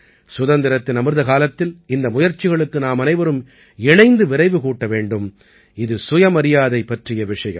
சுதந்திரத்தின் அமிர்த காலத்தில் இந்த முயற்சிகளுக்கு நாமனைவரும் இணைந்து விரைவு கூட்ட வேண்டும் இது சுயமரியாதை பற்றிய விஷயம்